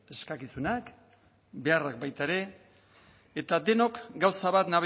eskakizunak beharrak baita ere eta denok gauza bat